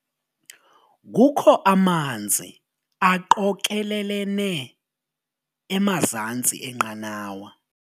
Kukho amanzi aqokelelene emazantsi enqanawa.